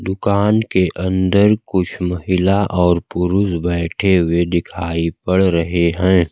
दुकान के अंदर कुछ महिला और पुरुष बैठे हुए दिखाई पड़ रहे हैं।